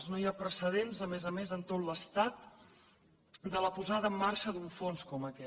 no hi ha precedents a més a més en tot l’estat de la posada en marxa d’un fons com aquest